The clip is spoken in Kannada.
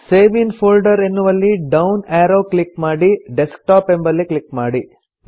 ಸೇವ್ ಇನ್ ಫೋಲ್ಡರ್ ಎನ್ನುವಲ್ಲಿ ಡೌನ್ ಎರೊ ಕ್ಲಿಕ್ ಮಾಡಿ ಡೆಸ್ಕ್ಟಾಪ್ ಎಂಬಲ್ಲಿ ಕ್ಲಿಕ್ ಮಾಡಿ